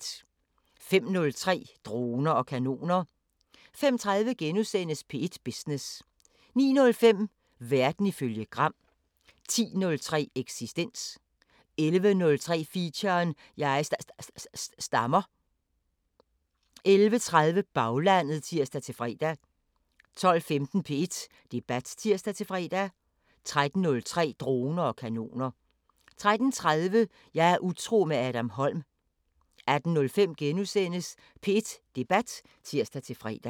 05:03: Droner og kanoner 05:30: P1 Business * 09:05: Verden ifølge Gram 10:03: Eksistens 11:03: Feature: Jeg sta-sta-stammer 11:30: Baglandet (tir-fre) 12:15: P1 Debat (tir-fre) 13:03: Droner og kanoner 13:30: Jeg er utro med Adam Holm 18:05: P1 Debat *(tir-fre)